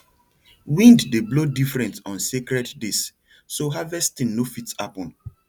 wind dey blow different on sacred days so harvesting no fit happen